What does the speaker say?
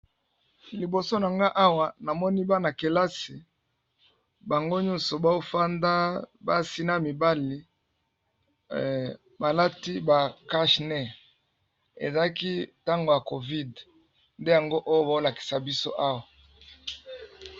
Liboso na nga awa namoni bana-kelasi bango nyonso bao fanda basi na mibali balati ba cache nez, ezalaki ntango ya COVID nde yango oyo baolakisa biso awa.